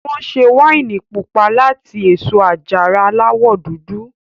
Wọn ṣe wáìnì pupa láti èso àjàrà Aláwọ̀ dúdú